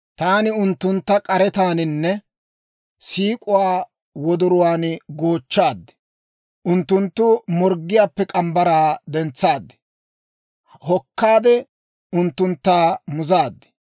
Taani unttunttu k'aretaaninne siik'uwaa wodoruwaan goochchaad; unttunttu morggiyaappe morgge mitsaa dentsaad; hokkaade unttuntta muzaad.